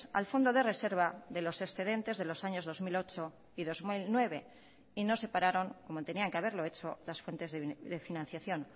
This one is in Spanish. al fondo de reserva de los excedentes de los años dos mil ocho y dos mil nueve y no separaron como tenían que haberlo hecho las fuentes de financiación